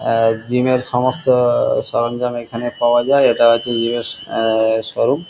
হা gym এর এর সমস্ত জিনিস এখানে পাওয়া যায় এটা হচ্ছে জিম এর শোরুম ।